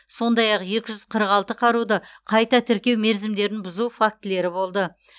сондай ақ екі жүз қырық алты қаруды қайта тіркеу мерзімдерін бұзу фактілері болды